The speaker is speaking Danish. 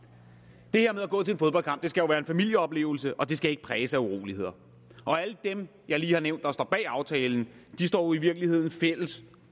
skal jo være en familieoplevelse og den skal ikke præges af uroligheder alle dem jeg lige har nævnt står bag aftalen står i virkeligheden fælles